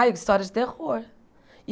Ah, histórias de terror.